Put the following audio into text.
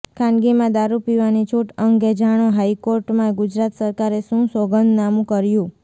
ખાનગીમાં દારૂ પીવાની છૂટ અંગે જાણો હાઈકોર્ટમાં ગુજરાત સરકારે શું સોગંદનામુ કર્યુ